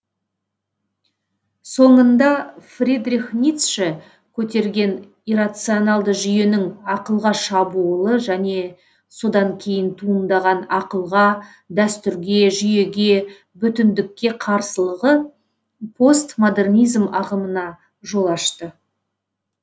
соңында фридрих ницше көтерген иррационалды жүйенің ақылға шабуылы және содан кейін туындаған ақылға дәстүрге жүйеге бүтіндікке қарсылығы постмодернизм ағымына жол ашты